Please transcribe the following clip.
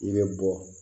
I bɛ bɔ